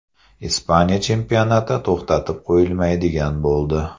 Ispaniya chempionati to‘xtatib qo‘yilmaydigan bo‘ldi.